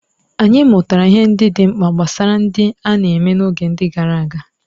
Anyị mụtara ihe ndị dị mkpa gbasara ndị a na-eme n'oge gara aga.